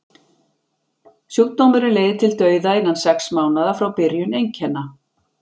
sjúkdómurinn leiðir til dauða innan sex mánaða frá byrjun einkenna